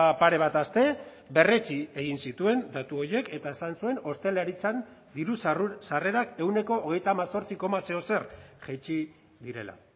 pare bat aste berretsi egin zituen datu horiek eta esan zuen ostalaritzan diru sarrerak ehuneko hogeita hemezortzi koma zeozer jaitsi direla